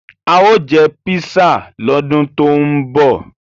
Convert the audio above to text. A ó jẹ písà lọ́dún tó ń bọ̀.